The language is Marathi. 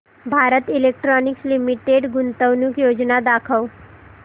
भारत इलेक्ट्रॉनिक्स लिमिटेड गुंतवणूक योजना दाखव